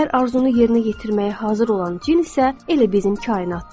Hər arzunu yerinə yetirməyə hazır olan cin isə elə bizim kainatdır.